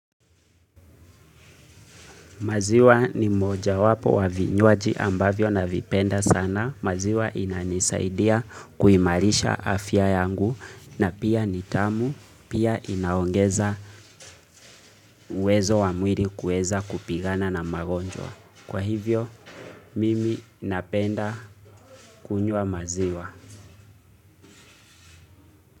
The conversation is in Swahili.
Maziwa ni moja wapo wa vinyuaji ambavyo na vipenda sana. Maziwa inanisaidia kuimarisha afya yangu na pia nitamu pia inaongeza uwezo wa mwili kueza kupigana na magonjwa. Kwa hivyo, mimi napenda kunywa maziwa.